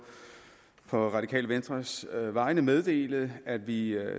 radikale venstres vegne meddele at vi